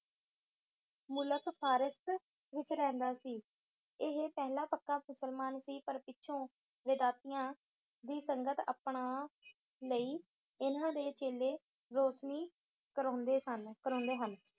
ਮੁਲਕ ਫਾਰਿਸ ਵਿੱਚ ਰਹਿੰਦਾ ਸੀ। ਇਹ ਪਹਿਲਾ ਪੱਕਾ ਮੁਸਲਮਾਨ ਸੀ। ਪਰ ਪਿਛੋ ਵੇਦਾਂਤੀਆਂ ਦੀ ਸੰਗਤ ਅਪਣਾ ਲਈ। ਇਨ੍ਹਾਂ ਦੇ ਚੇਲੇ ਰੋਸਨੀ ਕਰਾਉਦੇ ਸਨ, ਕਰਾਉਂਦੇ ਹਨ।